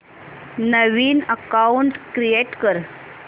नवीन account create कर